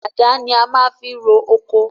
Àdá ni a maá fi ro ọkọ